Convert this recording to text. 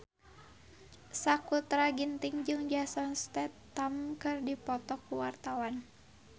Sakutra Ginting jeung Jason Statham keur dipoto ku wartawan